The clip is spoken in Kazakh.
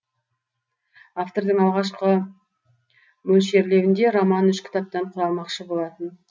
автордың алғашқы мөлшерлеуінде роман үш кітаптан құралмақшы болатын